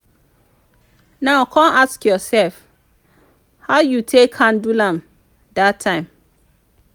now con ask ursef how yu yu take handle am dat time